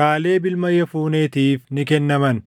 Kaaleb ilma Yefuneetiif ni kennaman.